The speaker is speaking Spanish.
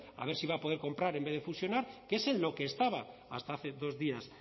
a ver si va a poder comprar en vez de fusionar que es en lo que estaba hasta hace dos días